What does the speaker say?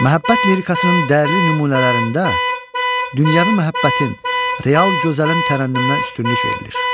Məhəbbət lirikasının dəyərli nümunələrində dünyəvi məhəbbətin, real gözəlin tərənnümünə üstünlük verilir.